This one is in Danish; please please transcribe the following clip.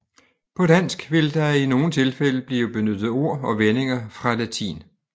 På dansk vil der i nogle tilfælde blive benyttet ord og vendinger fra latin